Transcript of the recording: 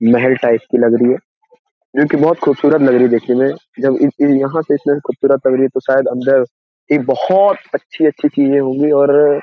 मेहेल type की लग रही है जो कि बोहोत खूबसूरत लग रही है देखने में। जब इस ये यहां से इतना खुबसूरत लग रही है तो शायद अंदर एक बोहोत अच्छी-अच्छी चीजें होंगी और अ --